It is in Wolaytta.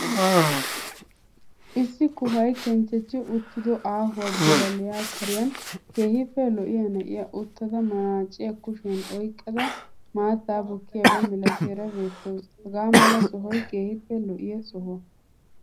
Issi kuhay kenchchechchi uttido ahuwa bilale kariyan keehippe lo"iya na'iya uttada manaaciya kushiyan oyggada maattaa bukkiyaba milatiyara beettawuus. Hagaamala sohoy keehippe lo"iya sohuwa.